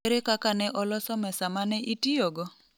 Ere kaka ne oloso mesa ma ne itiyogo?